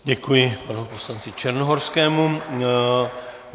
Děkuji panu poslanci Černohorskému.